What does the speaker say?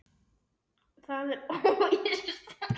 Það er óvíst.